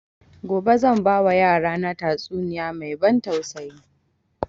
Gobe zan ba wa yara na tatsuniya mai ban tausayi